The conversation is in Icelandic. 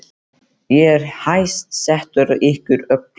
Ég er hæst settur af ykkur öllum!